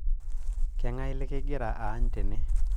kang'ae lekingira aany tene